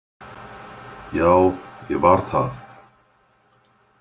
Já, ég var það.